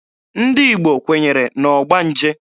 Ndị Igbo kwenyere na ọgbanje.